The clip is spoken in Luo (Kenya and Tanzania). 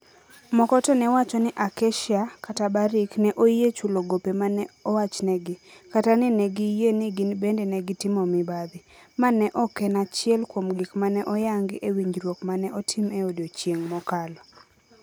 Moko to ne wacho ni Acacia/Barrick ne oyie chulo gope ma ne owachnegi, kata ni ne giyie ni gin bende ne gitimo mibadhi, ma ne ok en achiel kuom gik ma ne oyangi e winjruok ma ne otim e odiechieng' mokalo.